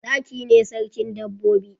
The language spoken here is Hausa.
Zaki ne sarkin dabbobi